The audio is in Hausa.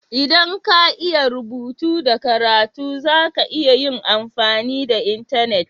ldan ka iya karatu da rubutu, za ka iya yin amfani da intenet.